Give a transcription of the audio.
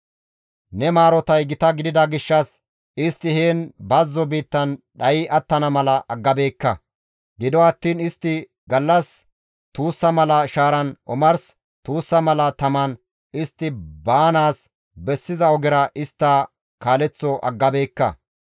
«Ne maarotay gita gidida gishshas istti heen bazzo biittan dhayi attana mala aggabeekka; gido attiin istti gallas tuussa mala shaaran omars tuussa mala taman istti baanaas bessiza ogera istta kaaleththo aggabeekka.